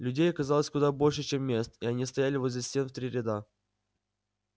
людей оказалось куда больше чем мест и они стояли возле стен в три ряда